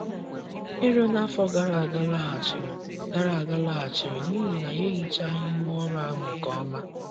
Ero n’afọ gara aga laghachiri gara aga laghachiri n’ihi na anyị ehichaghị ngwaọrụ ahụ nke ọma.